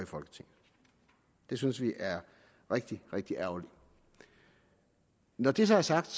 det synes vi er rigtig rigtig ærgerligt når det så er sagt